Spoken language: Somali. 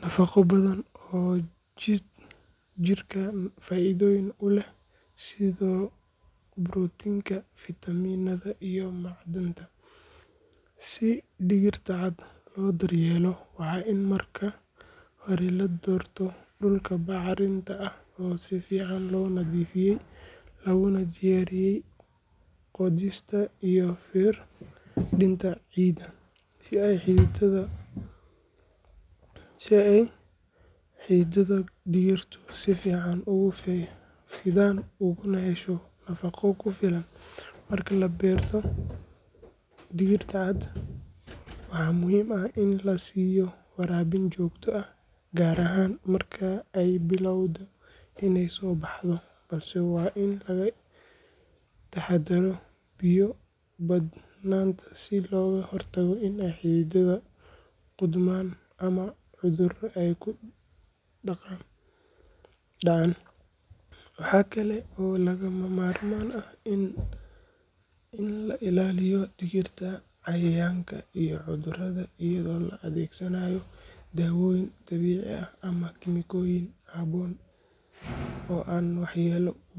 nafago badan oo jirka faidoyin uleh sidha protein, vitamins iyo macdanta, si digirta caad lodaryelo waxa in marka hore ladorto dulka bacrinta ah oo sifican lonadifiyey lagunadiyariyey ciida si ay hiditada digurtu si fican ogusidhan oguna hesho nafago jufilaan, marka laberto digirta caad waxa muxiim ah ini lasiyo warabin jogta ah gaar ahan marka ay bilawdo inay sobahdo, balse wa in lagailaliyo biyo badnananta si logahortago inay ay hididata godman ama cudur ay kudacaan, waxa kale oo lagamarmaan ah in lailaliyo dihirta cayayanka iyo cudurada iyado laadegsanayo dawoyin dabici ah ama gemikoyin haboon oo an wahyelo.